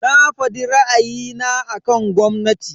Na fadi ra'ayina akan gwamnati.